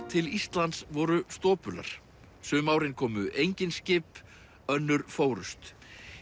til Íslands voru stopular sum árin komu engin skip önnur fórust